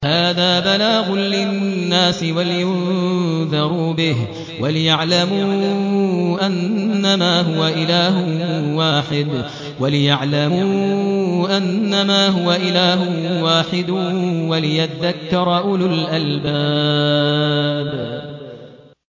هَٰذَا بَلَاغٌ لِّلنَّاسِ وَلِيُنذَرُوا بِهِ وَلِيَعْلَمُوا أَنَّمَا هُوَ إِلَٰهٌ وَاحِدٌ وَلِيَذَّكَّرَ أُولُو الْأَلْبَابِ